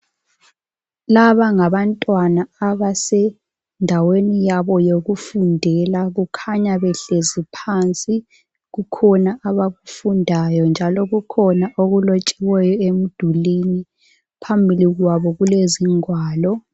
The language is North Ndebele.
Laba ngabantwana abasendaweni yabo eyokufundela kukhanya behleli phansi kukhona abakufundayo njalo kukhona okulotshiweyo emdulwini phambi kwabo kulezigwalo